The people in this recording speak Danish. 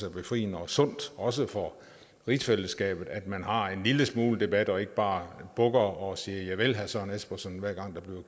er befriende og sundt også for rigsfællesskabet altså at man har en lille smule debat og ikke bare bukker og siger javel herre søren espersen hver gang